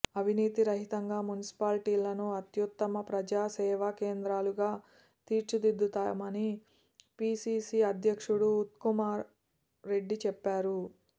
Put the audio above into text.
అవినీతి రహితంగా మున్సిపాలిటీలను అత్యుత్తమ ప్రజా సేవా కేంద్రాలుగా తీర్చిదిద్దుతామని పీసీసీ అధ్యక్షుడు ఉత్తమ్కుమార్ రెడ్డి చెప్పారు